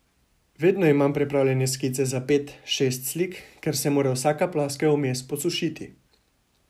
Vedno imam pripravljene skice za pet, šest slik, ker se mora vsaka ploskev vmes posušiti.